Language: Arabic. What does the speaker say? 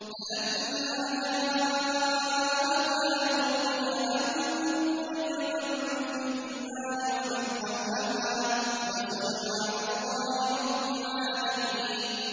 فَلَمَّا جَاءَهَا نُودِيَ أَن بُورِكَ مَن فِي النَّارِ وَمَنْ حَوْلَهَا وَسُبْحَانَ اللَّهِ رَبِّ الْعَالَمِينَ